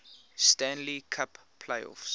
stanley cup playoffs